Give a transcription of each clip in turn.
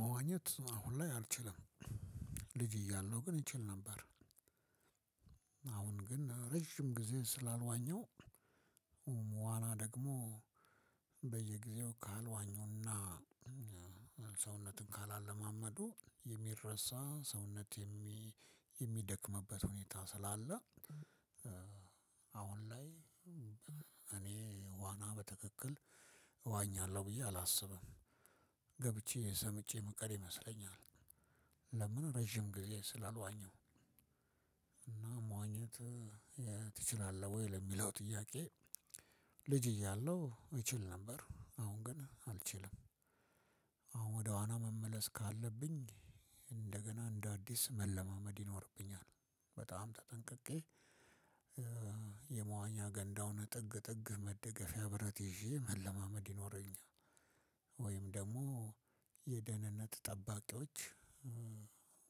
መዋኘት አሁን ላይ አልችልም ልጅ እያለሁ ግን ይችል ነበር። አሁን ግን ረጅም ጊዜ ስላልዋኘው። ዋና ደግሞ በየጊዜው ካልዋኙና ሰውነትን ካላለማመዱ የሚረሳ ሰውነት የሚደክምበት ሁኔታ ስላለ። አሁን ላይ እኔ ዋና በትክክል እዋኛለሁ ብዬ አላስብም ገብቼ ሰምጨ ምቀር ይመስለኛል። ለምን ረጅም ጊዜ ስላልዋኘው። እና መዋኘት ትችላለህ ወይ ለሚለው ጥያቄ? ልጅ እያለሁ እችል ነበር አሁን ግን አልችልም። አሁን ወደ ዋና መመለስ ካለብኝ እንደገና እንደ አዲስ መለማመድ ይኖርብኛል። በጣም ተጠንቅቄ የመዋኛ ገንዳውን ጥግ ጥግ መደገፊያ ብረት ይዤ መለማመድ ይኖረኛል። ወይም ደግሞ የደህንነት ጠባቂዎች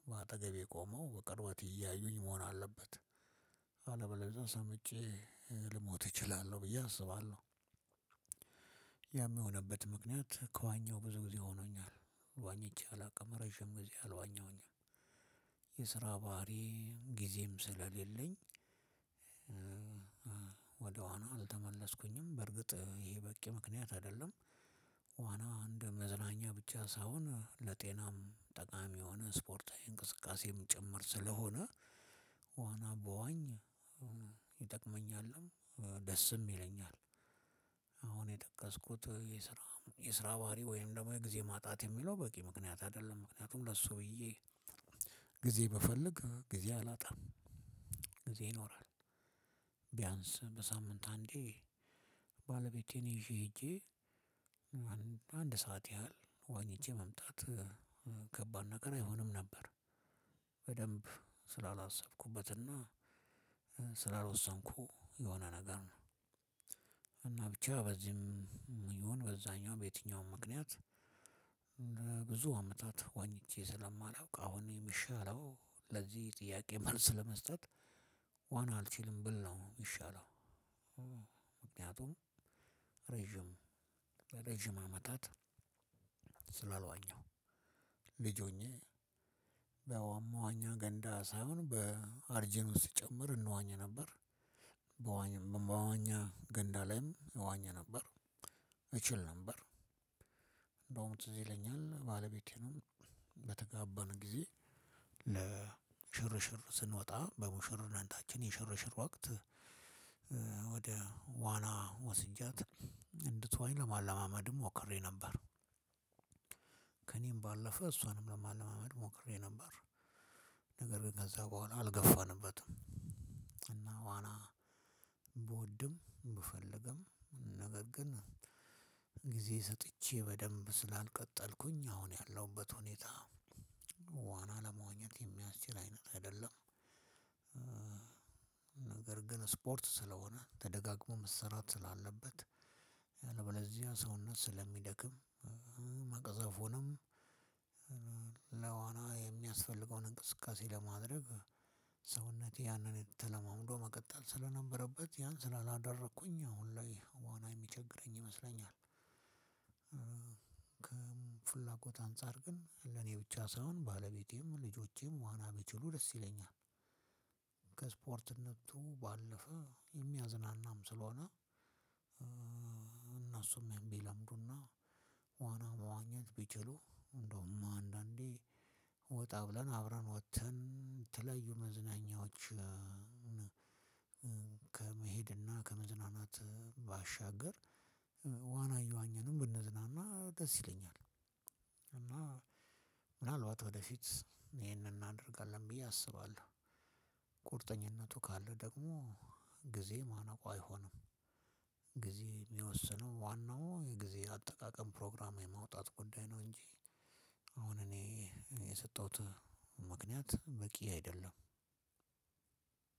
በአጠገቤ ቆመው በቅርብት እያዩኝ መሆን አለበት። አለበለዝያ ሰምጨ ልሞት እችላለሁ ብዬ አስባለሁ። ያም የሆነበት ምክንያት ከዋኘሁ ብዙ ጊዜ ሆኖኛል ዋኝቸ አላውቅም ረጅም ጊዜ አልዋኘሁኝም። የስራ ባህሪ ጊዜም ስለሌለኝ። ወደዋና አልተመለስኩኝም በርግጥ ይሄ በቂ ምክንያት አይደለም። ዋና እንደ መዝናኛ ብቻ ሳይሆን ለጤናም ጠቃሚ የሆነ ስፖርታዊ እንቅስቃሴም ጭምር ስለሆነ። ዋና በዋኝ ይጠቅመኛልም ደስም ይለኛል። አሁን የጠቀስኩት የስራ የስራ ባህሪ ወይም ደግሞ የጊዜ ማጣት የሚለው በቂ ምክንያት አይደለም ምክንያቱም ለሱ ብዬ ጊዜ ብፈልግ ጊዜ አላጣም። ጊዜ ይኖራል። ቢያንስ በሳምንት አንዴ። ባለቤቴን ይዤ ሄጄ አንድ ሰዓት ያህል ዋኝቸ መምጣት ከባድ ነገር አይሆንም ነበር። በደንብ ስላላሰብኩበትና ስላልወሰንኩ የሆነ ነገር ነው። እና ብቻ በዚህም ይሁን በዛኛው በየትኛውም ምክንያት። ብዙ አመታት ዋኝቸ ስለማላውቅ አሁን የሚሻለው ለዚህ ጥያቄ መልስ ለመስጠት ዋና አልችልም ብል ነው የሚሻለው። ምክንያቱም ለረዥም አመታት ስላልዋኘሁ ልጅ ሁኘ በመዋኛ ገንዳ ሳፍሆን አርጂኖ ስጨመር እንዋኝ ነበር። በመዋኛ ገንዳ ላይም እዋኝ ነበር። እችል ነበር እንደውም ትዝ ይለኛል ባለቤቴንም በተጋባን ጊዜ ለ ስንወጣ በሙሽርነታችን የሽርሽር ወቅት ወደ ዋና ወስጃት እንድትዋኝ ለማለማመድም ሞክሬ ነበር። ከእኔም ባለፈ እሷንም ለማለማመድ ሞክሬ ነበር። ነገር ግን ከዛ በኋላ አልገፋንበትም። እና ዋና ብወድም ብፈልግም ነገር ግን ጊዜ ሰጥቼ በደንብ ስላልቀጠልኩኝ አሁን ያለሁበት ሁኔታ። ዋና ለመዋኝት የሚያስችል አይነት አይደለም። ነገር ግን ስፖርት ስለሆነ ተደጋግሞ መሰራት ስላለበት አለበለዝያ ሰውነት ስለሚደክም መቅዘፉኑም ለዋና የሚያስፈልገውን እንቅስቃሴ ለማድረግ ሰውነቴ ያንን ተለማመዶ መቀጠል ስለነበረበት ያን ስላላደረኩኝ አሁን ላይ ዋና የሚቸግረኝ ይመስለኛል። ከፍላጎት አንፃር ግን ለኔ ብቻ ሳይሆን ባለቤቴም ልጆቼም ዋና ቢችሉ ደስ ይለኛል። ከስፖርትነቱ ባለፈ የሚያዝናናም ስለሆነ። እነሱም የሚለምዱና ዋና መዋኘት ቢችሉ እንደውም አንዳንዴ ወጣ ብለን አብረን ወጥተን የተለዩ መዝናኛዎች። ከመሄድና ከመዝናናት ባሻገር ዋና እየዋኝንም ብንዝናና ደስ ይለኛል። እና ምናልባት ወደፊት ይሄንን እናደርጋለን ብዬ አስባለሁ። ቁርጠኝነቱ ካለ ደግሞ ጊዜ ማነቁ አይሆንም። የሚወስነው ዋናው የጊዜ አጠቃቀም ፕሮግራም የማውጣት ጉዳይ ነው እንጂ። አሁን እኔ የሰጠሁት ምክንያት በቂ አይደለም።